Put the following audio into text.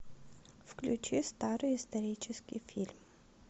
включи старый исторический фильм